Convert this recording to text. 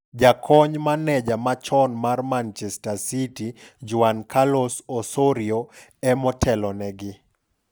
Jakony Maneja machon mar Manchester City, Juan Carlos Osorio, e motelo negi.